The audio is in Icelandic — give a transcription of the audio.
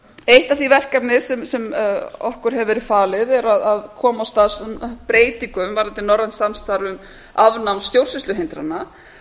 eitt af þeim verkefnum sem okkur hefur verið falið er að koma af stað breytingum varðandi norrænt samstarf um afnám stjórnsýsluhindrana